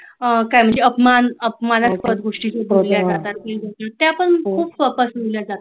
अपमान अपमानाच्या गोष्टी शिकवल्या जातात फेसबुक वर त्यापण खुप